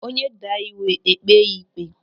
Onye daa iwu, e kpee ya ịkpe.